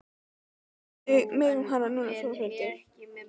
Láttu mig um hana núna Þórhildur.